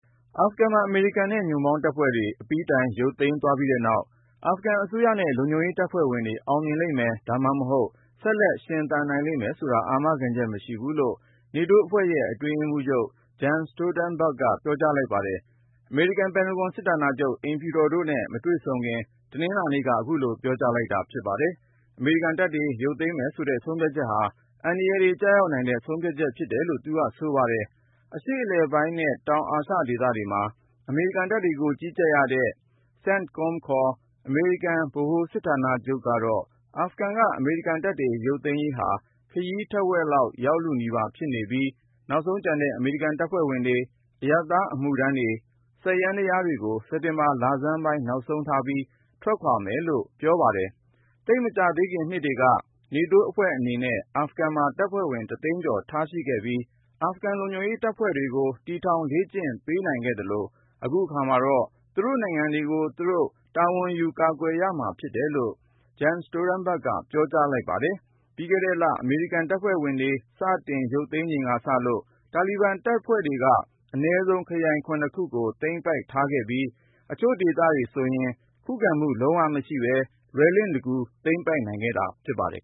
အာဖဂန်မှာ အမေရိကန်နဲ့ ညွန့်ပေါင်း တပ်ဖွဲ့ တွေ အပြီးတိုင် ရုပ်သိမ်း သွားပြီးတဲ့နောက် ၊ အာဖဂန်အစိုးရနဲ့ လုံခြုံရေး တပ်ဖွဲ့ဝင်တွေ အောင်မြင်လိမ့်မယ် ဒါမှမဟုတ် ဆက်လက် ရှင်သန်နိုင်လိမ့်မယ်ဆိုတာ အာမခံချက် မရှိဘူးလို့ နေတိုးအဖွဲ့ရဲ့ အတွင်းရေးမှူးချုပ် Jens Stoltenberg က ပြောကြား လိုက်ပါတယ်။ အမေရိကန် ပင်တဂွန် စစ်ဌာနချုပ် ၊ အိမ်ဖြူတော်တို့နဲ့ မတွေ့ဆုံခင် တနင်္လာနေ့က အခုလို ပြောကြားလိုက်တာ ဖြစ်ပါတယ်။ အမေရိကန် တပ်တွေ ရုပ်သိမ်းမယ်ဆိုတဲ့ ဆုံးဖြတ်ချက်ဟာ အန္တရာယ်တွေ ကျရောက်နိုင်တဲ့ ဆုံးဖြတ်ချက် ဖြစ်တယ်လို့လည်း သူက ဆိုပါတယ်။ အရှေ့အလယ်ပိုင်းနဲ့ တောင်အာရှ ဒေသတွေမှာ အမေရိကန်တပ်တွေကို ကြီးကြပ်ရတဲ့ ခေါ် အမေရိကန် ဗဟိုစစ်ဌာနချုပ်ကတော့ အာဖဂန်က အမေရိကန်တပ်တွေ ရုပ်သိမ်းရေးဟာ ခရီးတဝက် ရောက်လုနီးပါး ဖြစ်နေပြီး ၊ နောက်ဆုံးကျန်တဲ့ အမေရိကန် တပ်ဖွဲ့ဝင်တွေ ၊ အရပ်သား အမှုထမ်းတွေ ၊ စက်ယန္တရားတွေကို စက်တင်ဘာ လဆန်းပိုင်း နောက်ဆုံးထားပြီး ထွက်ခွာမယ်လို့ ပြောပါတယ်။ သိပ်မကြာသေးခင် နှစ်တွေက နေတိုးအဖွဲ့ အနေနဲ့ အာဖဂန်မှာ တပ်ဖွဲ့ဝင် တသိန်း ကျော် ထားရှိခဲ့ပြီး ၊ အာဖဂန် လုံခြုံရေး တပ်ဖွဲ့တွေကို တည်ထောင် လေ့ကျင့် ပေးနိုင်ခဲ့ သလို ၊ အခုအခါမှာတော့ သူတို့ နိုင်ငံတွေကိုသူတို့ တာဝန်ယူကာကွယ်ရမှာဖြစ်တယ်လို့ Jens Stoltenberg က ပြော ကြားလိုက်ပါတယ်။ ပြီးခဲ့တဲ့လ အမေရိကန်တပ်ဖွဲ့ တွေ စတင် ရုပ်သိမ်းချိန်ကစလို့ တာလီဘန်တပ်ဖွဲ့တွေဟာ အနည်းဆုံး ခရိုင် ခုကို သိမ်းပိုက်ထားခဲ့ပြီး ၊ အချို့ဒေသ တွေဆိုရင် ခုခံမှု လုံးဝမရှိပဲ လွယ်လင့်တကူ သိမ်းပိုက်နိုင်ခဲ့တာ ဖြစ်ပါတယ်